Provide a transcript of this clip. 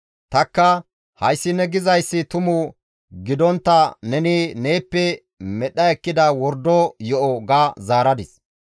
Tanikka, «Hayssi ne gizayssi tumu gidontta neni neeppe medha ekkida wordo yo7o» ga zaaradis.